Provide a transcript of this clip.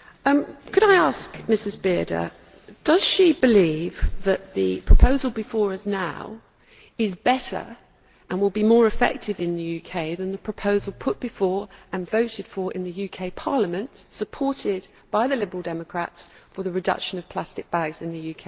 Could I ask Mrs Bearder if she believes that the proposal before us now is better, and will be more effective in the UK, than the proposal put before, and voted for in, the UK Parliament and supported by the Liberal Democrats for the reduction of plastic bags in the UK?